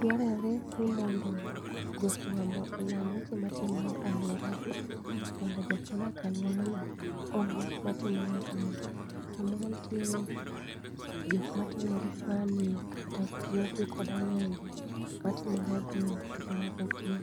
Dwarore ni mondo jofuambo oland weche matimore e aluoragi, mondo jok ma odak e aluorano ong'e gik matimore e piny. Samoro nitiere gik matimore kaka nek kata kuo gi kod ang'enge matimore e gweng' to jomoko kia.